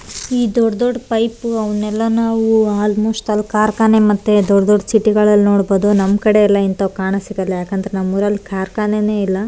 ಈ ದೊಡ್ಡ್ ದೊಡ್ದ್ ಪೈಪು ಅವ್ನೆಲ್ಲ ನಾವು ಆಲ್ಮೋಸ್ಟ್ ಅಲ್ಲ್ ಕಾರ್ಖಾನೆ ಮತ್ತೆ ದೊಡ್ದ್ ದೊಡ್ಡ್ ಸಿಟಿ ಗಳಲ್ಲಿ ನೋಡ್ಬಹುದು ನಮ್ ಕಡೆ ಇಂತೆಲ್ಲ ಕಾಣಾಕ್ ಸಿಗಲ್ಲ ಯಾಕಂದ್ರೆ ನಮ್ಮೂರಲ್ ಕಾರ್ಖಾನೆನೇ ಇಲ್ಲ.